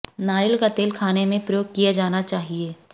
नारियल का तेल खाने में प्रयोग किया जाना चाहिये